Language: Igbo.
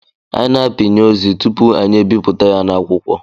Anyị na-apịnye ozi tupu anyị ebipụta ya na akwụkwọ